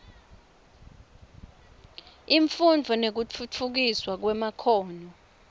imfundvo nekutfutfukiswa kwemakhono